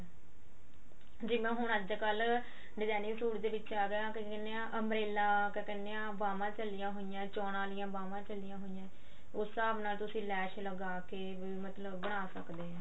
ਜਿਵੇਂ ਹੁਣ ਅੱਜਕਲ designing ਸੂਟ ਦੇ ਵਿੱਚ ਆ ਗਿਆ ਕਿਆ ਕਹਿੰਦੇ ਆ umbrella ਕਿਆ ਕਹਿੰਦੇ ਆ ਬਾਵਾਂ ਚੱਲੀਆਂ ਹੋਈਆਂ ਚੋਣਾਂ ਆਲਿਆਂ ਬਾਵਾਂ ਚੱਲੀਆਂ ਹੋਈਆਂ ਉਸ ਹਸਾਬ ਨਾਲ ਤੁਸੀਂ ਲੈਸ ਲਗਾ ਕੇ ਮਤਲਬ ਬਣਾ ਸਕਦੇ ਆ